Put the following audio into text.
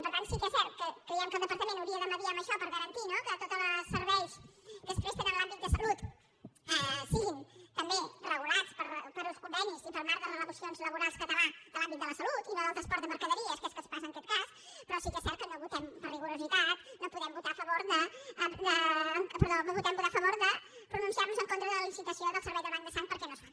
per tant sí que és cert que creiem que el departament hauria de mitjançar en això per garantir no que tots els serveis que es presten en l’àmbit de salut siguin també regulats per uns convenis i pel marc de relacions laborals català de l’àmbit de la salut i no del transport de mercaderies que és el que passa en aquest cas però sí que és cert que no votem per rigor no podem votar a favor de pronunciar nos en contra de la licitació del servei del banc de sang perquè no es fa